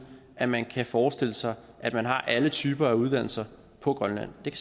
at man kan forestille sig at man har alle typer af uddannelser på grønland det